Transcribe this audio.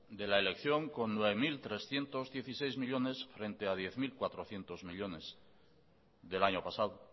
de la elección con nueve mil trescientos dieciséis millónes frente a diez mil cuatrocientos millónes del año pasado